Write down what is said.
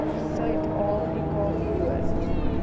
suid afrika woon